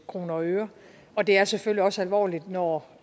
kroner og øre og det er selvfølgelig også alvorligt når